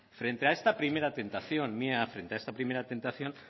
frente a esta primera tentación